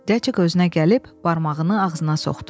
Cəcik gözünə gəlib barmağını ağzına soxdu.